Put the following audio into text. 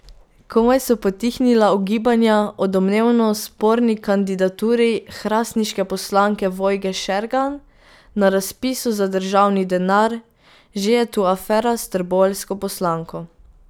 Komaj so potihnila ugibanja o domnevno sporni kandidaturi hrastniške poslanke Vojke Šergan na razpisu za državni denar, že je tu afera s trboveljsko poslanko.